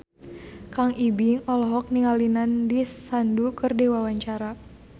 Kang Ibing olohok ningali Nandish Sandhu keur diwawancara